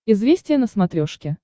известия на смотрешке